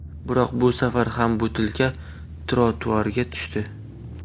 Biroq bu safar ham butilka trotuarga tushdi.